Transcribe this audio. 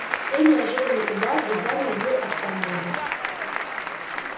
сей неожиданный удар едва не убил отца моего